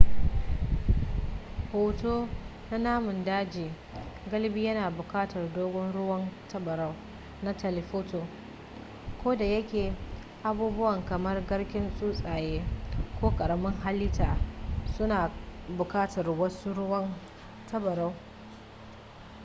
hoto na namun daji galibi yana buƙatar dogon ruwan tabarau na telephoto kodayake abubuwa kamar garken tsuntsaye ko ƙaramin halitta suna buƙatar wasu ruwan tabarau